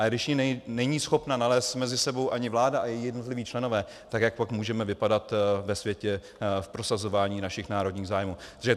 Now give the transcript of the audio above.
A když ji není schopna nalézt mezi sebou ani vláda a její jednotliví členové, tak jak pak můžeme vypadat ve světě v prosazování našich národních zájmů?